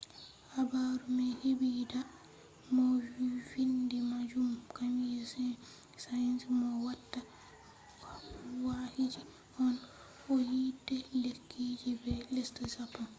habaru mai hebi da french opera mo vindi majun camille saint-saens mo watta wakiji on ‘’ o yide lekkije be lesde japan’’